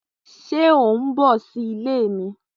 Ṣe o n bọ si ile mi?